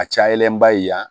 A cayalenba ye yan